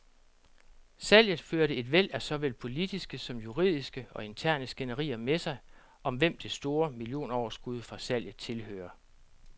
Salget førte et væld af såvel politiske som juridiske og interne skænderier med sig, om hvem det store millionoverskud fra salget tilhører.